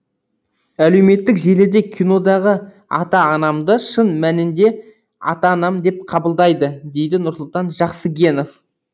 әлеуметтік желіде кинодағы ата анамды шын мәнінде ата анам деп қабылдайды дейді нұрсұлтан жақсыгенов